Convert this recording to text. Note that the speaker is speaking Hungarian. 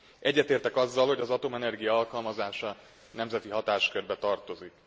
Egyetértek azzal, hogy az atomenergia alkalmazása nemzeti hatáskörbe tartozik.